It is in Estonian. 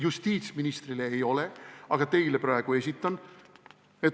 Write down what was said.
Justiitsministrile ei ole, aga teile praegu esitan.